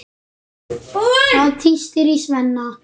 Það tístir í Svenna.